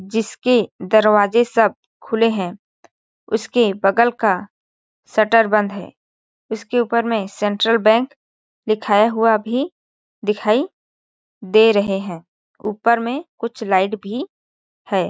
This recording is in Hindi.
जिसके दरवाजें सब खुले है उसके बगल का शटर बंद है उसके ऊपर में सेंट्रल बैंक लिखाया हुआ भी दिखाई दे रहे है ऊपर में कुछ लाइट भी हैं।